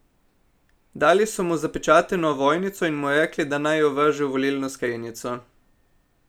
Dali so mu zapečateno ovojnico in mu rekli, da naj jo vrže v volilno skrinjico.